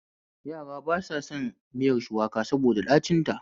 Yara ba sa son miyar shuwaka saboda ɗacin